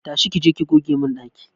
Tashi!ki je ki goge mun daki!